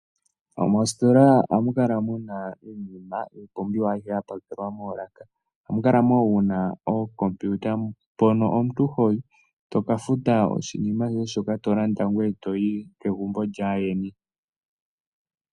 Moositola ohamu kala muna iipumbiwa mbyoka hayi kala yapakelwa moolaka moka muna ookompiuta mpoka tokafuta oshinima shoka tolanda ee toyi kegumbo lyaandjeni.